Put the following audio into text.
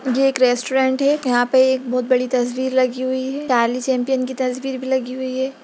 ये एक रेस्टोरेंट है यहाँ पे एक बहुत बड़ी तस्वीर लगी हुई है चैंपियन की तस्वीर भी लगी हुई है।